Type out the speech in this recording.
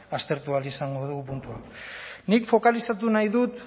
aztertu ahal izango du puntu hau nik fokalizatu nahi dut